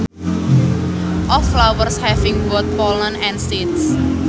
Of flowers having both pollen and seeds